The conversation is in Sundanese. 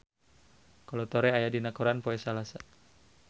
Kolo Taure aya dina koran poe Salasa